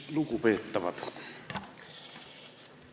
Lugupeetavad!